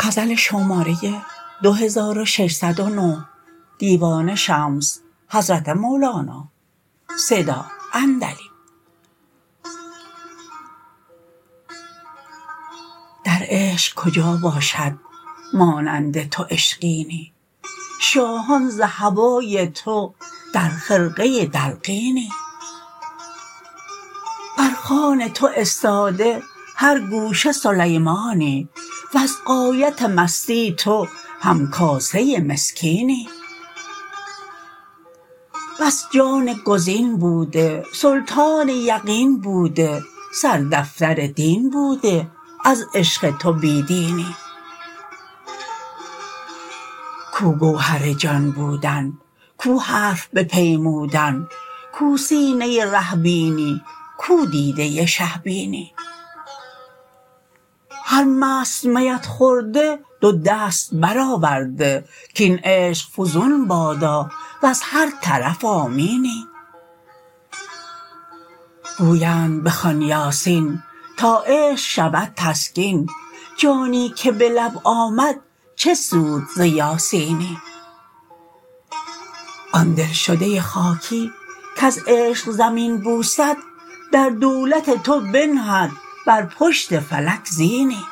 در عشق کجا باشد مانند تو عشقینی شاهان ز هوای تو در خرقه دلقینی بر خوان تو استاده هر گوشه سلیمانی وز غایت مستی تو همکاسه مسکینی بس جان گزین بوده سلطان یقین بوده سردفتر دین بوده از عشق تو بی دینی کو گوهر جان بودن کو حرف بپیمودن کو سینه ره بینی کو دیده شه بینی هر مست میت خورده دو دست برآورده کاین عشق فزون بادا وز هر طرف آمینی گویند بخوان یاسین تا عشق شود تسکین جانی که به لب آمد چه سود ز یاسینی آن دلشده خاکی کز عشق زمین بوسد در دولت تو بنهد بر پشت فلک زینی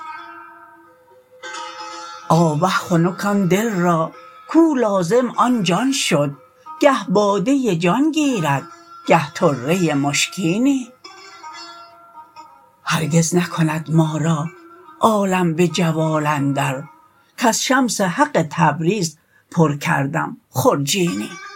آوه خنک آن دل را کو لازم آن جان شد گه باده جان گیرد گه طره مشکینی هرگز نکند ما را عالم به جوال اندر کز شمس حق تبریز پر کردم خرجینی